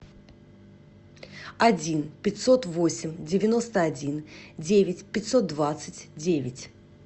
один пятьсот восемь девяносто один девять пятьсот двадцать девять